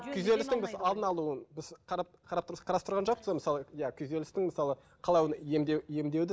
күйзелістің біз алдын алуын біз иә күйзелістің мысалы қалай оны емдеуді